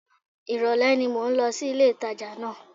Ìrọ̀lẹ́ ni mò ń lọ sí ilé-ìtàjà náà